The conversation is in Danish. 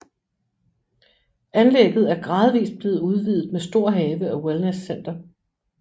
Anlægget er gradvist blevet udvidet med stor have og wellnesscenter